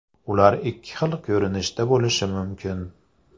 Ular ikki xil ko‘rinishda bo‘lishi mumkin.